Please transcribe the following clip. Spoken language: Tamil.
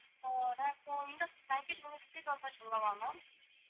இந்த package முடிச்சுட்டு ma'am